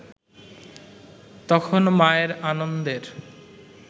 তখন মায়ের আনন্দের